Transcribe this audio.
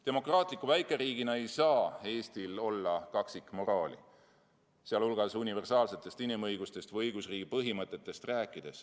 Demokraatliku väikeriigina ei saa Eestil olla kaksikmoraali, sh universaalsetest inimõigustest või õigusriigi põhimõtetest rääkides.